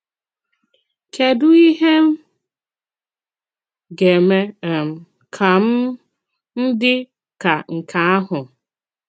Kédù ìhè m ga-eme um ka m m dị ka nke ahụ?